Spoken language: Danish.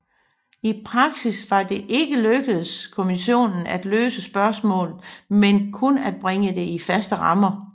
I praksis var det ikke lykkedes kommissionen at løse spørgsmålet men kun at bringe det i faste rammer